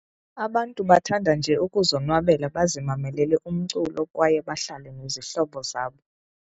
Abantu bathanda nje ukuzonwabela bazimamelele umculo kwaye bahlale nezihlobo zabo.